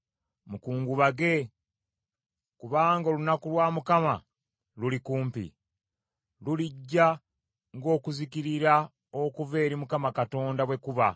Mukungubage, kubanga olunaku lwa Mukama luli kumpi, lulijja ng’okuzikirira okuva eri Mukama Katonda bwe kuba!